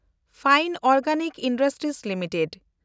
fine organic industries limited